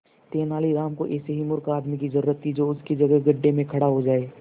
तेनालीराम को ऐसे ही मूर्ख आदमी की जरूरत थी जो उसकी जगह गड्ढे में खड़ा हो जाए